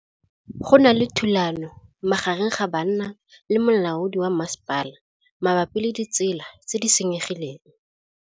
Go na le thulanô magareng ga banna le molaodi wa masepala mabapi le ditsela tse di senyegileng.